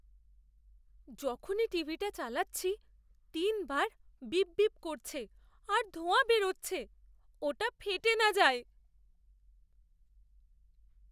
যখনই টিভিটা চালাচ্ছি, তিনবার বিপ বিপ করছে আর ধোঁয়া বেরোচ্ছে। ওটা ফেটে না যায়!